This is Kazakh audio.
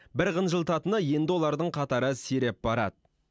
бір қынжылтатыны енді олардың қатары сиреп барады